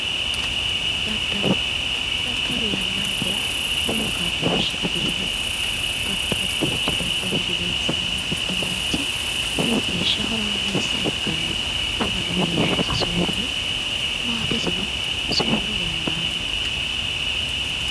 Daddalo, daddalu yannakera lowo kaa'loshshe afirino addi addiricho daddalihu gedensaanni mittu manchi lowo geeshsha horaameessa ikkanno wona no heeshsho soorre maatesino soorra dandaanno